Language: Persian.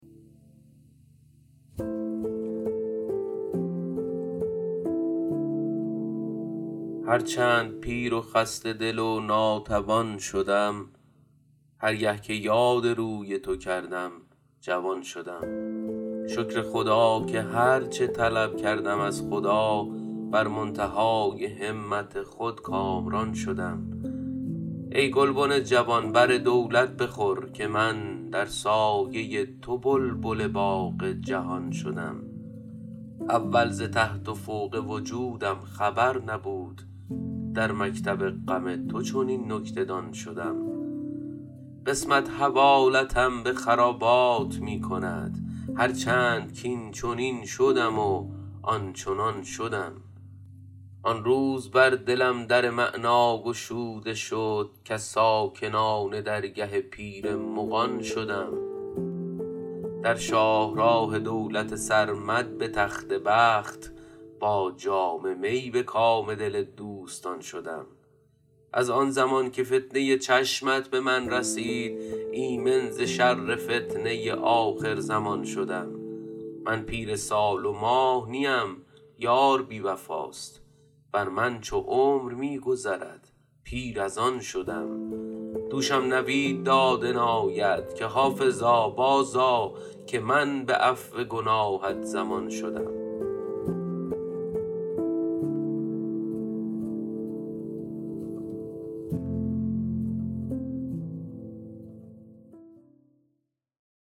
هر چند پیر و خسته دل و ناتوان شدم هر گه که یاد روی تو کردم جوان شدم شکر خدا که هر چه طلب کردم از خدا بر منتهای همت خود کامران شدم ای گلبن جوان بر دولت بخور که من در سایه تو بلبل باغ جهان شدم اول ز تحت و فوق وجودم خبر نبود در مکتب غم تو چنین نکته دان شدم قسمت حوالتم به خرابات می کند هر چند کاینچنین شدم و آنچنان شدم آن روز بر دلم در معنی گشوده شد کز ساکنان درگه پیر مغان شدم در شاه راه دولت سرمد به تخت بخت با جام می به کام دل دوستان شدم از آن زمان که فتنه چشمت به من رسید ایمن ز شر فتنه آخرزمان شدم من پیر سال و ماه نیم یار بی وفاست بر من چو عمر می گذرد پیر از آن شدم دوشم نوید داد عنایت که حافظا بازآ که من به عفو گناهت ضمان شدم